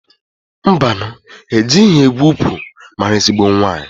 Mbanụ! Ejighi egwu ukwu maara ezigbo nwaanyị.